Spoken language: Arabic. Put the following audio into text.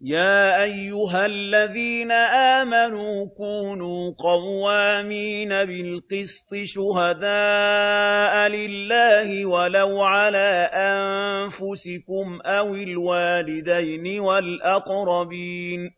۞ يَا أَيُّهَا الَّذِينَ آمَنُوا كُونُوا قَوَّامِينَ بِالْقِسْطِ شُهَدَاءَ لِلَّهِ وَلَوْ عَلَىٰ أَنفُسِكُمْ أَوِ الْوَالِدَيْنِ وَالْأَقْرَبِينَ ۚ